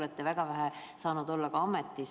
Te olete väga vähe saanud ametis olla.